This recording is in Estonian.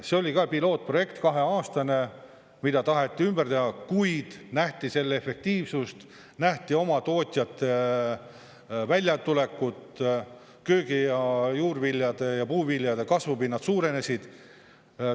See oli ka pilootprojekt, kaheaastane, mida taheti ümber teha, kuid nähti selle efektiivsust, nähti oma tootjate väljatulekut, köögi- ja juurviljade ja puuviljade kasvupinnad suurenesid.